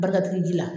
Barika digi ji la